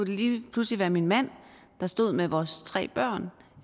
det lige pludselig min mand der stod med vores tre børn